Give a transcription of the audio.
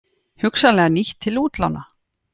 Hugsanlega nýtt til útlána